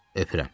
Öpürəm.